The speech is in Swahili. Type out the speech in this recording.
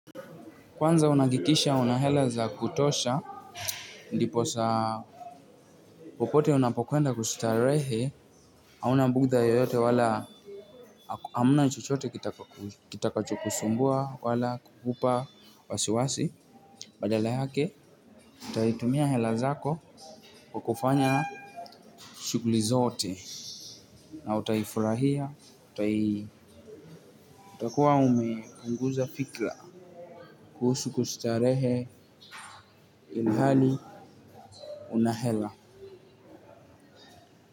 Kwanza unahakikisha una hela za kutosha. Ndiposa popote unapokwenda kustarehe. Hauna bugudha yoyote wala hamna chochote kitakachokusumbua wala kukupa wasiwasi. Badala yake, utaitumia hela zako kwa kufanya shughuli zote. Na utaifurahia, utakuwa umepunguza fikra kuhusu kustarehe ilhali una hela.